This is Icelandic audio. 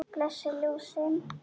Blessuð ljósin.